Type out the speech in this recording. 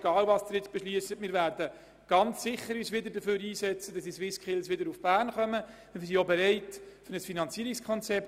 Egal, was Sie beschliessen, werden wir uns mit Sicherheit dafür einsetzen, dass die SwissSkills wieder in Bern durchgeführt werden.